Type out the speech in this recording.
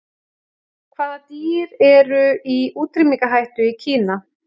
Hvaða dýr eru í útrýmingarhættu í Kína?